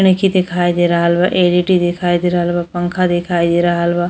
नइखी दिखाई दे रहल बा। एल.ई.डी देखाई दे रहल बा। पंखा देखाई दे रहल बा।